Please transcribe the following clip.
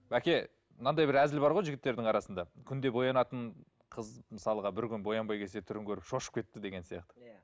бәке мынандай бір әзіл бар ғой жігіттердің арасында күнде боянатын қыз мысалға бір күн боянбай келсе түрін көріп шошып кетті деген сияқты иә